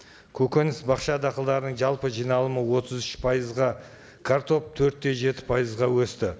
көгөніс бақша дақылдарының жалпы жиналымы отыз үш пайызға картоп төрт те жеті пайызға өсті